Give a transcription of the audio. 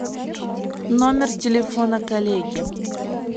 номер телефона коллеги